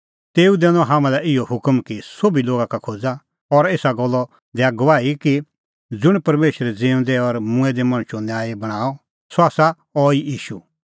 तेऊ दैनअ हाम्हां लै इहअ हुकम कि सोभी लोगा का खोज़ा और एसा गल्ले दैआ गवाही कि ज़ुंण परमेशरै ज़िऊंदै और मूंऐं दै मणछो न्यायी बणांअ सह आसा अहैई ईशू